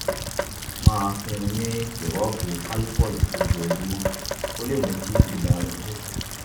máa fún un ní sìrọ́ọ̀pù calpol lójoojúmọ́ kó lè mú kí ibà rẹ̀ dín kù